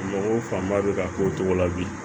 Mɔgɔw fanba bɛ ka k'o cogo la bi